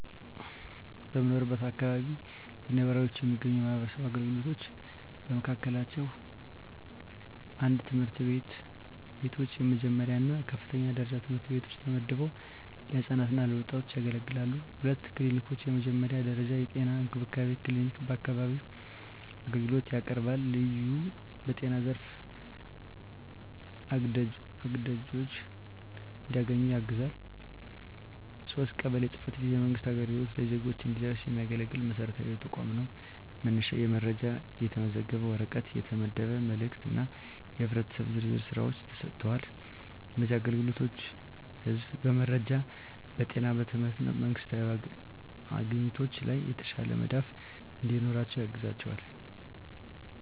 በምኖርበት አካባቢ ለነዋሪዎች የሚገኙ የማህበረሰብ አገልግሎቶች በመካከላቸው፣ 1. ትምህርት ቤቶች፣ የመጀመሪያ እና የከፍተኛ ደረጃ ትምህርት ቤቶች ተመድበው ለህፃናት እና ወጣቶች ያገለግላሉ። 2. ክሊኒኮች፣ የመጀመሪያ ደረጃ የጤና እንክብካቤ ክሊኒክ በአካባቢው አገልግሎት ያቀርባል፣ ልዩ በጤና ዘርፍ አግድዶች እንዲያገኙ ያግዛል። 3. ቀበሌ ጽ/ቤት፣ የመንግሥት አገልግሎት ለዜጎች እንዲደረስ የሚያገለግል መሰረታዊ ተቋም ነው፤ መነሻ የመረጃ፣ የተመዘገበ ወረቀት፣ የተመደበ መልእክት እና የህብረተሰብ ዝርዝር ሥራዎች ተሰጥተዋል። እነዚህ አገልግሎቶች ህዝቡ በመረጃ፣ በጤና፣ በትምህርት እና በመንግስታዊ አግኝቶች ላይ የተሻለ መዳፍ እንዲኖራቸው ያግዛቸዋል።